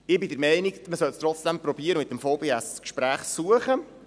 Ich bin der Meinung, man solle es trotzdem versuchen und mit dem VBS das Gespräch suchen.